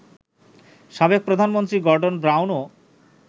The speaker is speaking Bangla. সাবেক প্রধানমন্ত্রী গর্ডন ব্রাউনও